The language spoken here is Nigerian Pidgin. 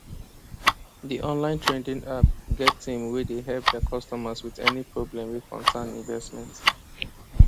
the online trading app get team wey dey help their customers with any problem wey cocern investment